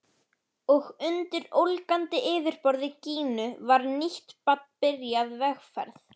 Og undir ólgandi yfirborði Gínu var nýtt barn byrjað vegferð.